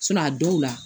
a dɔw la